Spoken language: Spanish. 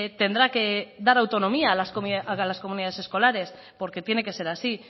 tendrá que dar autonomía a las comunidades escolares porque tiene que ser así